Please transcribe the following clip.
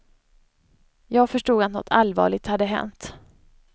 Jag förstod att något allvarligt hänt.